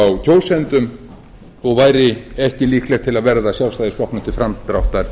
kjósendum og væri ekki líklegt til að verða sjálfstæðisflokknum til framdráttar